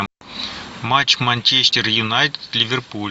матч манчестер юнайтед ливерпуль